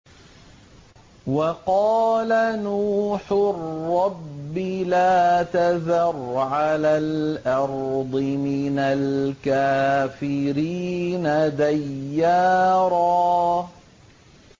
وَقَالَ نُوحٌ رَّبِّ لَا تَذَرْ عَلَى الْأَرْضِ مِنَ الْكَافِرِينَ دَيَّارًا